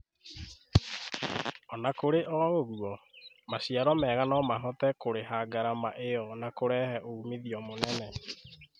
Ona kũri o ũguo, maciaro mega nomahote kũrĩha ngarama ĩyo na kũrehe ũmithio mũnene.